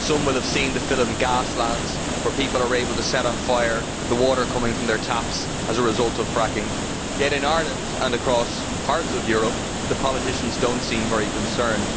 Some will have seen the film Gasland where people are able to set fire to the water coming from their taps as a result of fracking, yet in Ireland and across parts of Europe politicians do not seem very concerned.